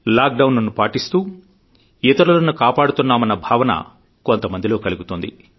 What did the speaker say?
lock down ను పాటిస్తూ ఇతరులను కాపాడుతున్నామన్న భావన కొంతమందిలో కలుగుతోంది